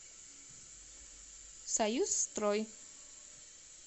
союз строй